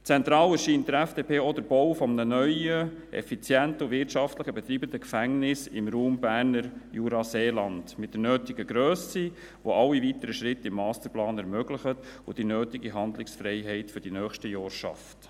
Zentral erscheint der FDP auch der Bau eines neuen, effizienten und wirtschaftlich zu betreibenden Gefängnisses im Raum Berner Jura-Seeland mit der nötigen Grösse, das alle weiteren Schritte im Masterplan ermöglicht und die nötige Handlungsfreiheit für die nächsten Jahre schafft.